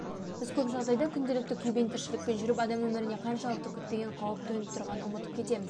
біз көп жағдайда күнделікті күйбең тіршілікпен жүріп адам өмірінде қаншалықты күтпеген қауіп төніп тұрғандығын ұмытып кетеміз